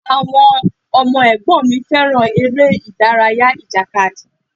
Àwọn ọmọ ẹ̀gbọ́n mi fẹ́ràn ère-ìdárayá ìjàkadì.